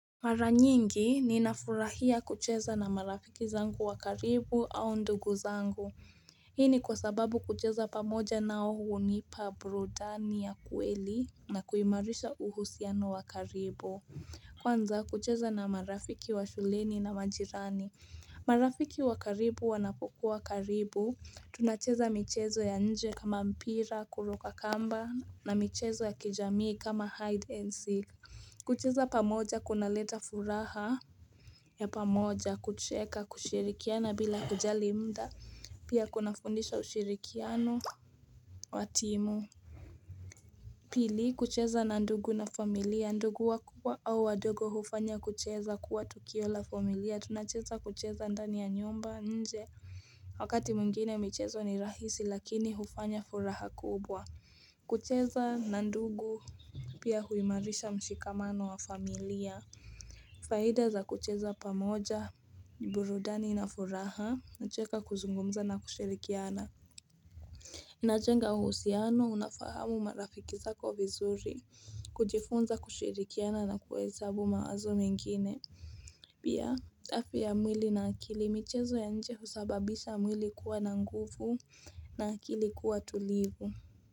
Mara nyingi ninafurahia kucheza na marafiki zangu wa karibu au ndugu zangu. Hii ni kwa sababu kucheza pamoja nao hunipa burudani ya kweli na kuimarisha uhusiano wa karibu. Kwanza kucheza na marafiki wa shuleni na majirani. Marafiki wa karibu wanapokuwa karibu. Tunacheza michezo ya nje kama mpira, kuruka kamba na michezo ya kijamii kama hide and seek. Kucheza pamoja kunaleta furaha ya pamoja kucheka kushirikiana bila kujali muda Pia kunafundisha ushirikiano wa timu Pili kucheza na ndugu na familia ndugu wakubwa au wadogo hufanya kucheza kuwa tukio la familia tunacheza kucheza ndani ya nyumba nje Wakati mwingine michezo ni rahisi lakini hufanya furaha kubwa kucheza na ndugu pia huimarisha mshikamano wa familia Faida za kucheza pamoja burudani inafuraha kucheka kuzungumza na kushirikiana inajenga uhusiano unafahamu marafiki zako vizuri kujifunza kushirikiana na kuwesabu mawazo mengine pia, afya ya mwili na akili michezo ya nje husababisha mwili kuwa na nguvu na akili kuwa tulivu.